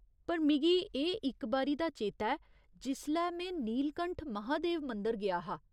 पर मिगी एह् इक बारी दा चेता ऐ जिसलै में नीलकंठ महादेव मंदर गेआ हा।